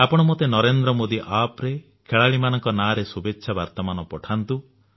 ଆପଣ ମୋତେ ନରେନ୍ଦ୍ର ମୋଦୀ ଆପ୍ରେ ଖେଳାଳିମାନଙ୍କ ନାଁରେ ଶୁଭେଚ୍ଛା ବାର୍ତ୍ତାମାନ ପଠାନ୍ତୁ